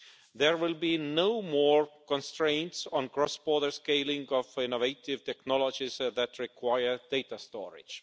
There will be no more constraints on cross border scaling of innovative technologies that require data storage.